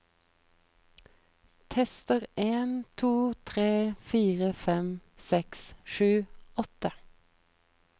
Tester en to tre fire fem seks sju åtte